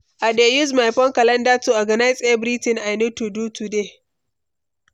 I dey use my phone calendar to organize everything I need to do today.